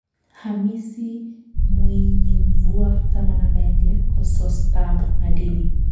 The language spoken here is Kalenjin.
Hamisi Mwinyimvua 11Kosostap madini